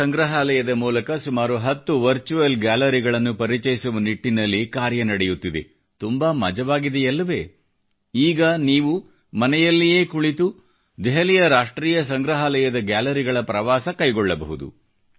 ರಾಷ್ಟ್ರೀಯ ಸಂಗ್ರಹಾಲಯದ ಮೂಲಕ ಸುಮಾರು 10 ವರ್ಚುವಲ್ ಗ್ಯಾಲರಿಗಳನ್ನು ಪರಿಚಯಿಸುವ ನಿಟ್ಟಿನಲ್ಲಿ ಕಾರ್ಯನಿರ್ವಹಿಸುತ್ತಿದೆ ತುಂಬಾ ಮಜವಾಗಿದೆಯಲ್ಲವೇ ಈಗ ನೀವು ಮನೆಯಲ್ಲಿಯೇ ಕುಳಿತು ದೆಹಲಿಯ ರಾಷ್ಟ್ರೀಯ ಸಂಗ್ರಹಾಲಯದ ಗ್ಯಾಲರಿಗಳ ಪ್ರವಾಸ ಕೈಗೊಳ್ಳಬಹುದು